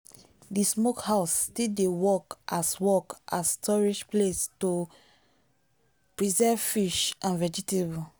the smokehouse still dey work as work as storage place to preserve fish and vegetable.